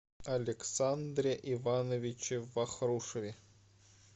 александре ивановиче вахрушеве